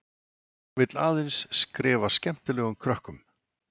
Vill aðeins skrifa skemmtilegum krökkum.